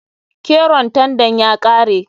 Keron tandan ya kare.